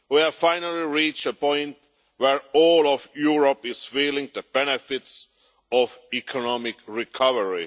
We have finally reached a point where all of Europe is feeling the benefits of economic recovery.